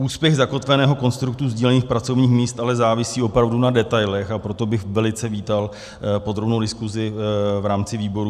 Úspěch zakotveného konstruktu sdílených pracovních míst ale závisí opravdu na detailech, a proto bych velice vítal podrobnou diskusi v rámci výborů.